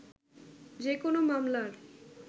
যে- কোনো মামলার